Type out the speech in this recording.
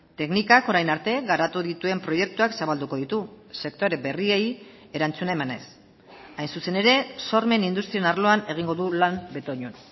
teknikak orain arte garatu dituen proiektuak zabalduko ditu sektore berriei erantzuna emanez hain zuzen ere sormen industrien arloan egingo du lan betoñon